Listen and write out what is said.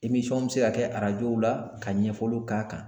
bɛ se ka kɛ arajo la ka ɲɛfɔliw k'a kan.